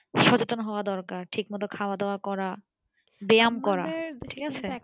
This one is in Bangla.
সচেতন হওয়ার দরকার ঠিক মতন খাওয়া দাওয়া করা ব্যাম করা ঠিক আছে